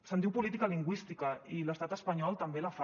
se’n diu política lingüística i l’estat espanyol també la fa